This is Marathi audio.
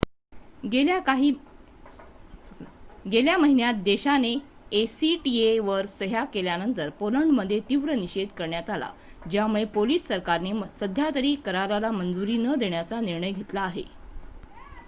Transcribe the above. गेल्या महिन्यात देशाने acta वर सह्या केल्यानंतर पोलंडमध्ये तीव्र निषेध करण्यात आला ज्यामुळे पोलिश सरकारने सध्यातरी कराराला मंजुरी न देण्याचा निर्णय घेतला आहे